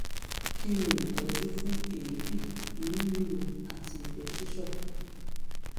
kí ni ìtọ́jú fún èébì inú ríro àti ìgbẹ́ ṣíṣàn